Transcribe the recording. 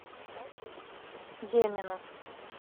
демину